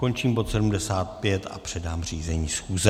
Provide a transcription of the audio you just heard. Končím bod 75 a předám řízení schůze.